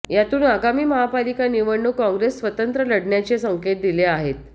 यातून आगामी महापालिका निवडणूक काँग्रेस स्वतंत्र लढण्याचे संकेत दिले आहेत